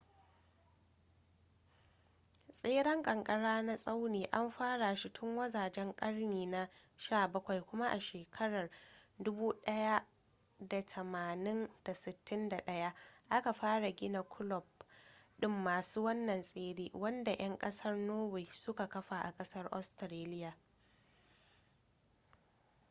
tseren kankara na tsauni an fara shi tun wajajen karni na 17 kuma a shekarar 1861 aka fara gina kulob din masu wannan tsere wanda yan kasar norway su ka kafa a kasar australiya